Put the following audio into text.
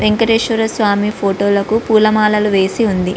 Venkateswara Swamy photo లకు పూలమాలలు వేసి ఉంది.